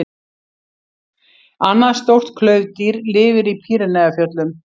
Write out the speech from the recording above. Annað stórt klaufdýr lifir í Pýreneafjöllum.